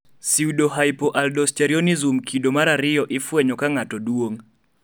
pseudohypoaldosteronism kido mar ariyo ifwenyo ka ng'ato duong'